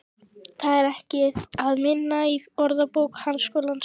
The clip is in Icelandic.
Það er ekki að finna í Orðabók Háskólans.